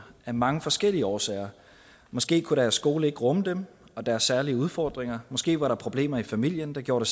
af mange forskellige årsager måske kunne deres skole ikke rumme dem og deres særlige udfordringer måske var der problemer i familien der gjorde